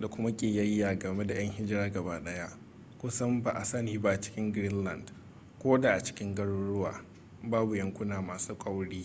da kuma ƙiyayya game da yan hijira gabaɗaya kusan ba a sani ba a cikin greenland ko da a cikin garuruwa babu yankuna masu kauri